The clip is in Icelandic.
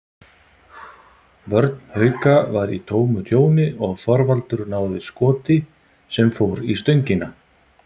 Vörn Hauka var í tómu tjóni og Þorvaldur náði skoti sem fór í stöngina.